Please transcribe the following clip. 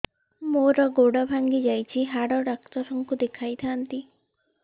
ମୋର ଗୋଡ ଭାଙ୍ଗି ଯାଇଛି ହାଡ ଡକ୍ଟର ଙ୍କୁ ଦେଖେଇ ଥାନ୍ତି